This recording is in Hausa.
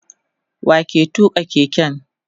wa ke tuka keken?